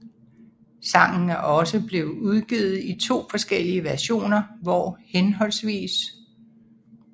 Sangen er også blevet udgivet i to forskellige versioner hvor hhv